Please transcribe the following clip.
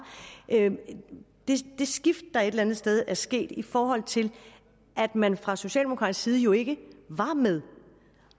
det skift der et eller andet sted er sket i forhold til at man fra socialdemokratisk side jo ikke var med